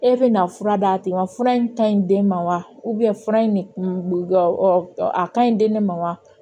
E bɛna fura d'a tigi ma fura in ka ɲi den ma wa fura in de kun ga a ka ɲi den de ma wa